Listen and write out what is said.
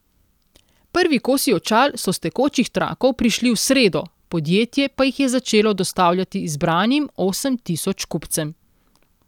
Prvi kosi očal so s tekočih trakov prišli v sredo, podjetje pa jih je začelo dostavljati izbranim osem tisoč kupcem.